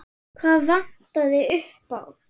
Hvað vantaði upp á?